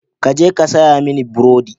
Ka je ka saya mini burodi.